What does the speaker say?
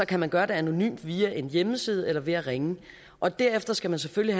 kan man gøre det anonymt via en hjemmeside eller ved at ringe og derefter skal man selvfølgelig